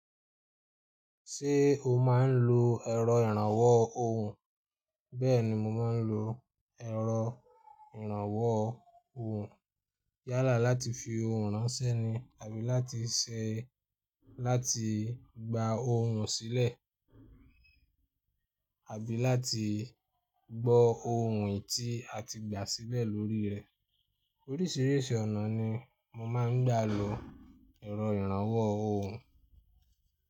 Ṣé o má ń lo ẹ̀rọ ìrànwọ́ ohùn? Bẹ́ẹ̀ni mo má ń lo ẹ̀rọ ìrànwọ́ ohùn. Yálà láti fi ohùn ránṣẹ́ ni àbí láti ṣẹ́ láti gba ohùn sílẹ̀, àbí láti gbọ́ ohùn èyi tí a ti gbà sílẹ̀ lórí rẹ̀. Oríṣìíríṣìí ọ̀nà ni mo má ń gbà lo ẹ̀rọ ìrànwọ́ ohùn.